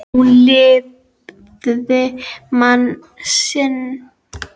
Hún lifði mann sinn.